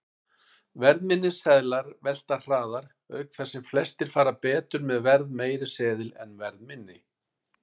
Verðminni seðlar velta hraðar, auk þess sem flestir fara betur með verðmeiri seðil en verðminni.